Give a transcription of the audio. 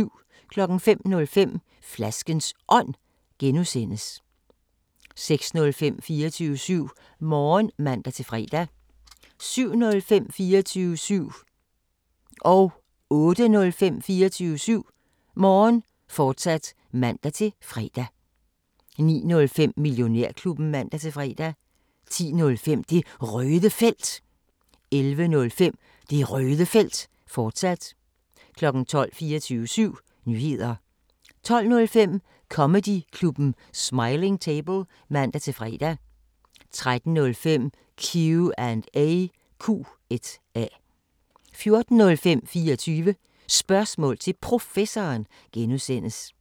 05:05: Flaskens Ånd (G) 06:05: 24syv Morgen (man-fre) 07:05: 24syv Morgen, fortsat (man-fre) 08:05: 24syv Morgen, fortsat (man-fre) 09:05: Millionærklubben (man-fre) 10:05: Det Røde Felt 11:05: Det Røde Felt, fortsat 12:00 24syv Nyheder 12:05: Comedyklubben Smiling Table (man-fre) 13:05: Q&A 14:05: 24 Spørgsmål til Professoren (G)